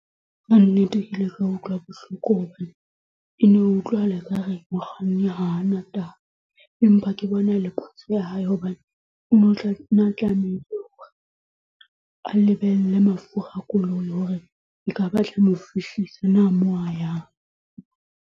Ka nnete ke ile ka utlwa bohloko hobane e ne utlwahala ekare mokganni hana taba empa ke bona e le phoso ya hae hobane o nne a tlamehile a lebelle mafura a koloi hore ekaba a tla mo fihlisa na moo a yang.